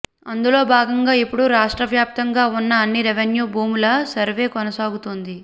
అందులో భాగంగా ఇప్పుడు రాష్ట్రవ్యాప్తంగా ఉన్న అన్ని రెవిన్యూ భూముల సర్వే కొనసాగుతోంది